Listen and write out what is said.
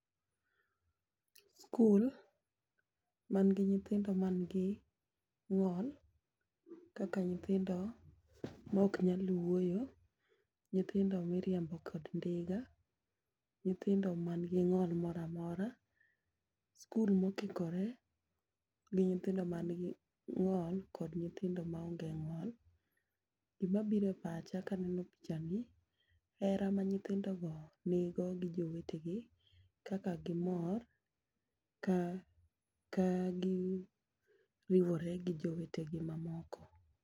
Skul man gi nyithindo man gi ng'ol kaka nyithindo mok nyal wuoyo, nyithindo miriembo kod ndiga, nyithindo man gi ng'o moramora, skul mokikore gi nyithindo man gi ng'ol kod nyithindo maonge ng'ol. Gima bire pacha kaneno picha ni hera ma nyithindo nigo gi jowetegi kaka gimor ka ka gi riwore gi jowetegi mamoko.